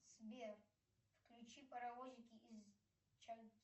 сбер включи паровозики из